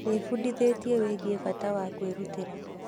Ndĩbundithĩtie wĩgiĩ bata wa kwĩrutĩra.